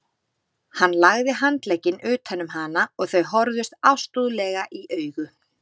Hann lagði handlegginn utan um hana og þau horfðust ástúðlega í augu.